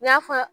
N y'a fɔ